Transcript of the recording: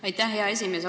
Aitäh, hea esimees!